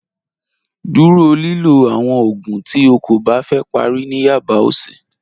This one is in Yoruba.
Dúró lílọ̀ àwọn oogún tí ó kó bá fẹ́ pàrí ní yaba ọsì.